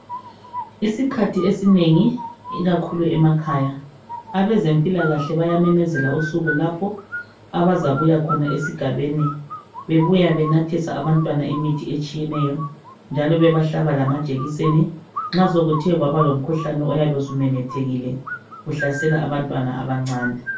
Isikhathi esinengi ikakhulu emakhaya, abezempilakahle bayamemezela usuku lapho abazabuya khona esigabeni bebuya be sethesa abantwana imithi ehlukeneyo njaslo bebahlaba lamajekiseni nxa sekuthe kwaba lomkhuhlane oyabe umemethekile uhlasela abantwana abancane.